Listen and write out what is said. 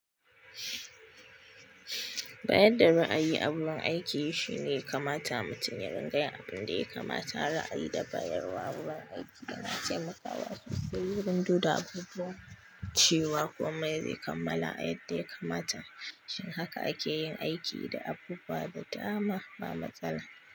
Bayar da ra'ayi a wurin aiki shine kamata mutum ya ringayin abin da ya kamata ra'ayi da bayarwa wurin aiki yana taimakawa wasu su yi wurin dukda abubuwan cewa komai zai kammala a yadda ya kamata. Shin haka ake yin aiki da abubuwa da dama ba matsala.